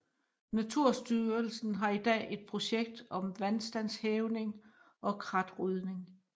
Naturstyrelsen har i dag et projekt om vandstandshævning og kratrydning